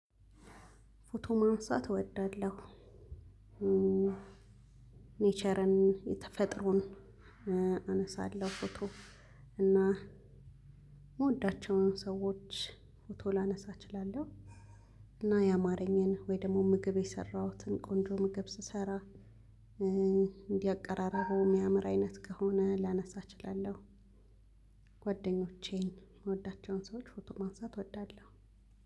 ፎቶ ማንሳት እወዳለሁ። ኔቸርን(ተፈጠረውን) አነሳለሁ። ፎቶ እና የምወዳቸውን ሰዎች ፎቶ ላነሳ እችላለሁ። እና ያማረኝን ወይ ደግሞ ምግብ የሰራሁትን ቆንጆ ምግብ ስሰራ እንዲህ አቀራረቡ የሚያምር አይነት ከሆነ ላነሳ እችላለሁ። ጓደኞቼን የምወዳቸውን ሰዎች ፎቶ ማንሳት እወዳለሁ።